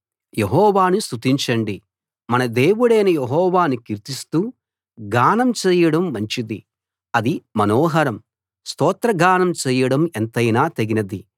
యెహోవాను స్తుతించండి మన దేవుడైన యెహోవాను కీర్తిస్తూ గానం చేయడం మంచిది అది మనోహరం స్తోత్రగానం చేయడం ఎంతైనా తగినది